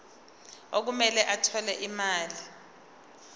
okumele athole imali